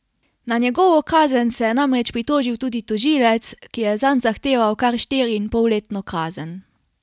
Na njegovo kazen se je namreč pritožil tudi tožilec, ki je zanj zahteval kar štiriinpolletno kazen.